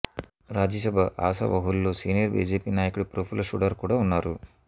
రాజ్యసభ ఆశావహుల్లో senior BJP నాయకుడు ప్రఫుల్ల ఘడారు కూడా ఉన్నారు